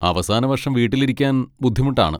അവസാന വർഷം വീട്ടിലിരിക്കാൻ ബുദ്ധിമുട്ടാണ്.